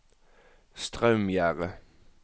Straumgjerde